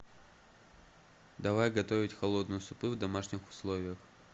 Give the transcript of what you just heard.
давай готовить холодные супы в домашних условиях